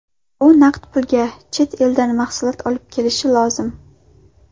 U naqd pulga chet eldan mahsulot olib kelishi lozim.